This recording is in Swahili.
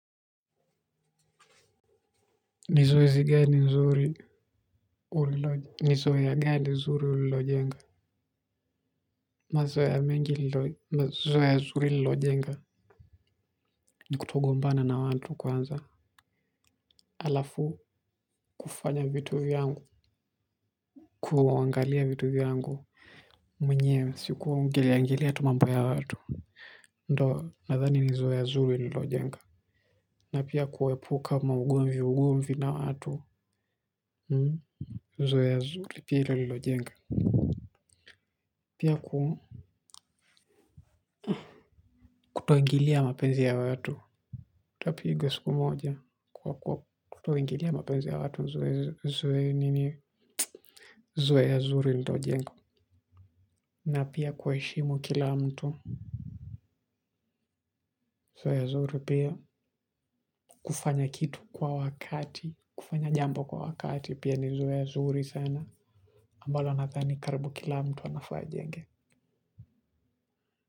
Ni zoezi gani nzuri uliloje. Ni zoea gani nzuri ulilojenga. Mazoea mengi lilo mazoea zuri nililojenga, ni kutogombana na watu kwanza. Alafu, kufanya vitu vyangu. Kuangalia vitu vyangu mwenyewe si kuingilia ingilia mambo ya watu. Ndo nadhani ni zoea zuri lililojenga. Na pia kuepuka ma ugomviugomvi na watu. Nizoya zuri pili lililojenga. Pia ku kutoingilia mapenzi ya watu, utapigwa siku moja. Kutoingilia mapenzi ya watu zoe nini zoea ya zuri nililojenga. Na pia kuwaheshimu kila mtu. Zoea zuri pia. Kufanya kitu kwa wakati, kufanya jambo kwa wakati pia ni zoea zuri sana ambalo nadhani karibu kila mtu anafaa ajenge.